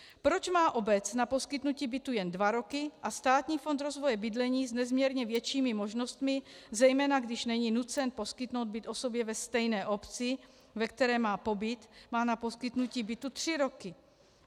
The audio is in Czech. - Proč má obec na poskytnutí bytu jen dva roky a Státní fond rozvoje bydlení s nezměrně většími možnostmi, zejména když není nucen poskytnout byt osobě ve stejné obci, ve které má pobyt, má na poskytnutí bytu tři roky?